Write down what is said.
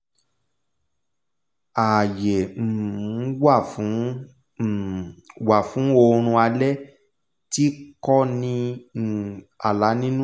ààyè um wá fún um wá fún oorun alé̩ tí ko̩ ní um àlá nínú